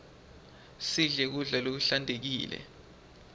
sidle kudla lokuhlantekile